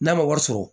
N'a ma wari sɔrɔ